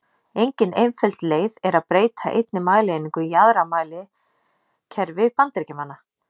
Engin einföld leið er að breyta einni mælieiningu í aðra í mælikerfi Bandaríkjamanna.